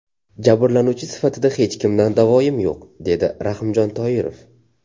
Jabrlanuvchi sifatida hech kimdan davoyim yo‘q”, dedi Rahimjon Toirov.